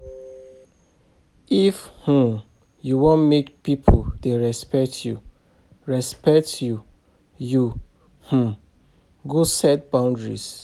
If um you wan make pipo dey respect you, respect you, you um go set boundaries.